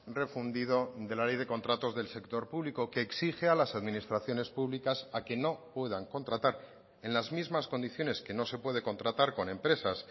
refundido de la ley de contratos del sector público que exige a las administraciones públicas a que no puedan contratar en las mismas condiciones que no se puede contratar con empresas